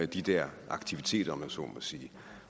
de der aktiviteter om man så må sige